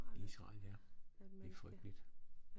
Israel ja det frygteligt